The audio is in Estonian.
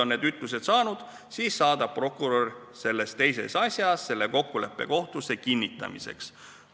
Kui need ütlused on antud, siis saadab prokurör selles teises asjas kokkuleppe kohtusse kinnitamiseks.